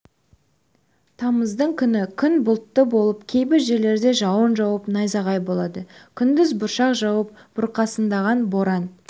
тамыздың күні күн бұлтты болып кейбір жерлерде жауын жауып найзағай болады күндіз бұршақ жауып бұрқасындаған боран